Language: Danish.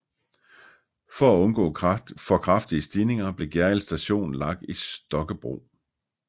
For at undgå for kraftige stigninger blev Gjerrild Station lagt i Stokkebro